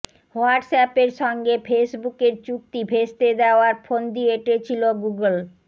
হোয়াটস অ্যাপের সঙ্গে ফেসবুকের চুক্তি ভেস্তে দেওয়ার ফন্দী এঁটেছিল গুগল